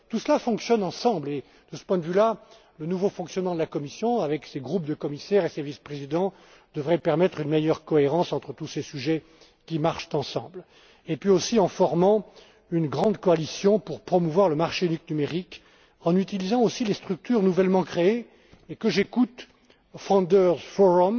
Tout cela fonctionne ensemble et, de ce point de vue là, le nouveau fonctionnement de la Commission, avec ses groupes de commissaires et ses vice présidents, devrait permettre une meilleure cohérence entre tous ces sujets qui marchent ensemble également en formant une grande coalition pour promouvoir le marché unique numérique, en utilisant les structures nouvellement créées et que j'écoute,